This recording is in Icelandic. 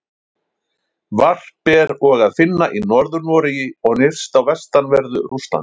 Varp er og að finna í Norður-Noregi og nyrst á vestanverðu Rússlandi.